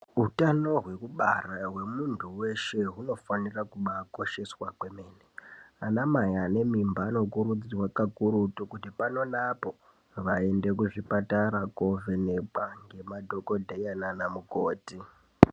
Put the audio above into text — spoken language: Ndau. Utano hwekubara hwemunthu weshe hunofanire kubaa kosheswa kwemene. Anamai ane mimba anokurudzirwa kakurutu kuti pano neapo vaende kuzvibhedhlera koovhenekwa ngemadhokodheya naana mukoti.